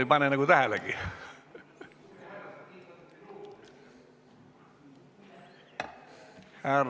Ei pane nagu tähelegi!